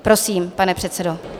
Prosím, pane předsedo.